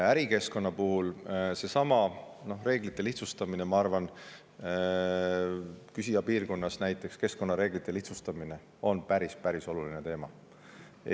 Ärikeskkonna puhul on seesama reeglite lihtsustamine, küsija piirkonnas näiteks keskkonnareeglite lihtsustamine päris oluline teema.